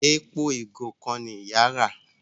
Èpo igo kán ní ìyá rà.